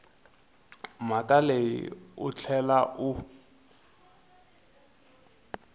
mhaka leyi u tlhela u